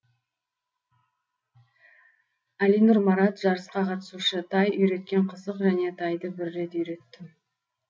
әлинұр марат жарысқа қатысушы тай үйреткен қызық және тайды бір рет үйреттім